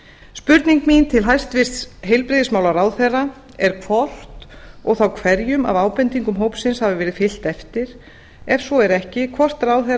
spurning mín til hæstvirtrar heilbrigðismálaráðherra er hvort og þá hverjum af ábendingum hópsins hafi verið fylgt eftir ef svo er ekki hvort ráðherra